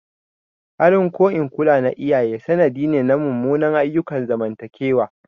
Halin ko in kula na iyaye sanadi ne na munanan ayyukan zamantakewa.